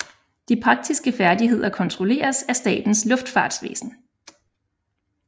De praktiske færdigheder kontrolleres af Statens Luftfartsvæsen